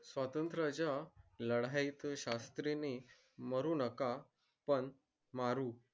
स्वात्रंच्या लढाई शास्त्री नि मरू नका पण मारू